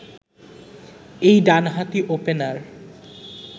এই ডানহাতি ওপেনার